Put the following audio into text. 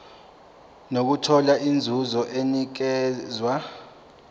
nokuthola inzuzo enikezwa